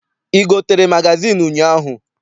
I gotere magazịịnụ ụnyaahụ?